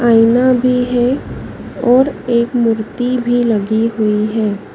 आयना भी है और एक मूर्ति भी लगी हुई है।